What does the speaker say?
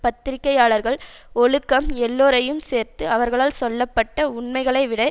பத்திரிக்கையாளர்கள் ஒழுக்கம் எல்லோரையும் சேர்த்து அவர்களால் சொல்ல பட்ட உண்மைகளை விட